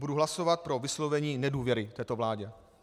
Budu hlasovat pro vyslovení nedůvěry této vládě.